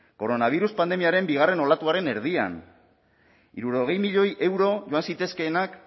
koronabirus pandemiaren bigarren olatuaren erdian hirurogei milioi euro joan zitezkeenak